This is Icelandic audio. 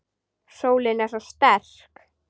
Sólin er svo sterk.